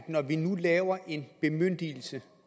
når vi nu laver en bemyndigelse